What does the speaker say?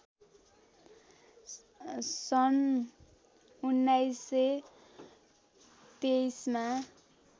सन् १९२३मा